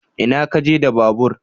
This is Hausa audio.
Ina kaje da babur?